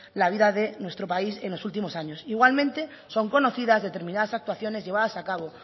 la vida de nuestro país en los últimos años igualmente son conocidas determinadas actuaciones llevadas a cabo